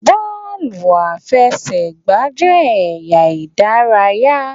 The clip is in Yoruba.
Bọ́ọ̀lù àfẹsẹ̀gbá jẹ́ ẹ̀yà ìdárayá